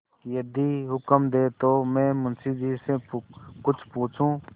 यदि हुक्म दें तो मैं मुंशी जी से कुछ पूछूँ